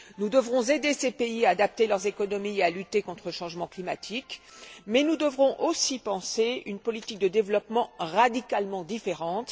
Nous devrons aider ces pays à adapter leurs économies et à lutter contre le changement climatique, mais nous devrons aussi penser une politique de développement radicalement différente.